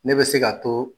Ne bɛ se ka to